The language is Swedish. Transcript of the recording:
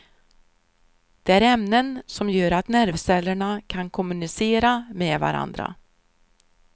De är ämnen som gör att nervcellerna kan kommunicera med varandra.